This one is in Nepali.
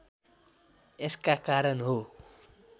यसका कारण हो